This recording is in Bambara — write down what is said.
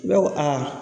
Ne ko a